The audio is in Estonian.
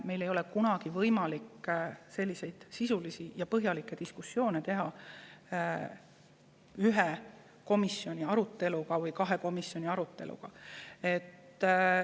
Meil ei ole kunagi võimalik sisulisi ja põhjalikke diskussioone teha ühel või kahel korral komisjoni aruteluga.